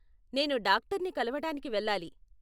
నేను డాక్టర్ని కలవటానికి వెళ్ళాలి.